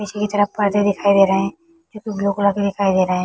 पीछे की तरफ परदे दिखाई दे रहे है। तो कुछ ब्लू कलर की दिखाई दे रहे है।